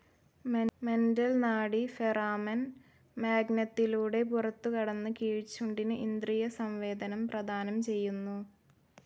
Mental നാഡി foramen മാഗ്നത്തിലൂടെ പുറത്തുകടന്ന് കീഴ്ച്ചുണ്ടിന് ഇന്ദ്രിയ സംവേദനം പ്രദാനം ചെയ്യുന്നു.